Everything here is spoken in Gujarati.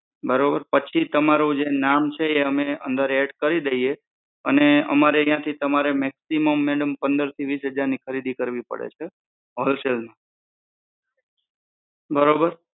બરોબર, પછી તમારું જે નામ છે એ અમે add કરી દઈએ અને અમારે ત્યાંથી તમારે maximum madam પંદરથી વીસ હજારની ખરીદી કરવી પડે છે. Wholesale બરોબર?